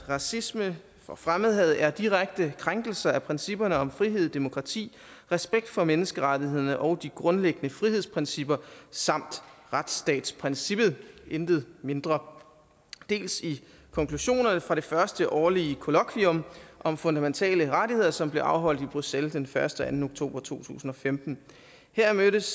racisme og fremmedhad er direkte krænkelser af principperne om frihed demokrati respekt for menneskerettigheder og de grundlæggende frihedsrettigheder samt retsstatsprincippet intet mindre dels i konklusionerne fra det første årlige kollokvium om fundamentale rettigheder som blev afholdt i bruxelles den første og anden oktober to tusind og femten her mødtes